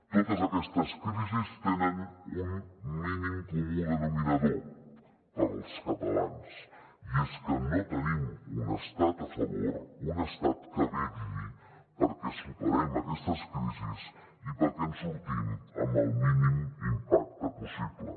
totes aquestes crisis tenen un mínim comú denominador per als catalans i és que no tenim un estat a favor un estat que vetlli perquè superem aquestes crisis i perquè en sortim amb el mínim impacte possible